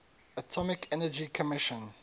atomic energy commission